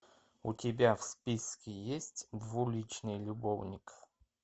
у тебя в списке есть двуличный любовник